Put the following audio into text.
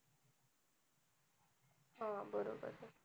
हा बरोबर.